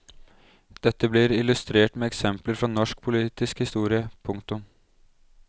Dette blir illustrert med eksempler fra norsk politisk historie. punktum